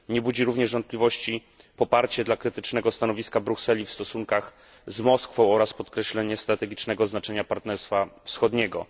Nie budzi również wątpliwości poparcie dla krytycznego stanowiska Brukseli w stosunkach z Moskwą oraz podkreślenie strategicznego znaczenia Partnerstwa Wschodniego.